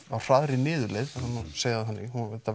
á hraðri niðurleið það má segja það þannig